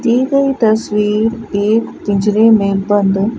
दि गई तस्वीर एक पिंजरे में बंद--